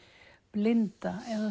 blinda eða